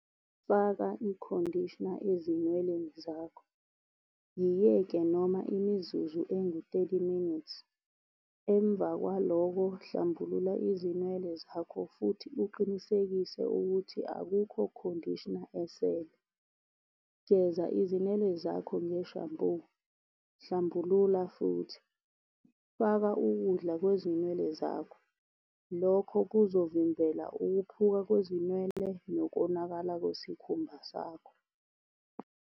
Faka i-conditioner ezinweleni zakho. Yiyeke noma imizuzu engu-thirty minutes. Emva kwalokho hlambulula izinwele zakho futhi uqinisekise ukuthi akukho conditioner esele. Geza izinwele zakho ngeshampu, hlambulula futhi, faka ukudla kwezinwele zakho. Lokho kuzovimbela ukhuphuka kwezinwele nokonakala kwesikhumba sakho.